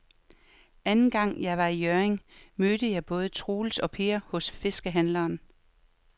Anden gang jeg var i Hjørring, mødte jeg både Troels og Per hos fiskehandlerne.